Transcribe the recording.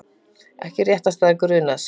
Ekki réttarstaða grunaðs